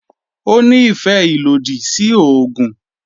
Ó ní ìfẹ́ ìlòdì sí oògùn